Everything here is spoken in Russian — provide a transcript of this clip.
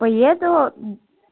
поеду